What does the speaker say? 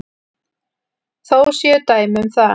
Þó séu dæmi um það.